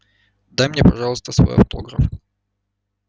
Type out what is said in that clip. дай мне пожалуйста свой автограф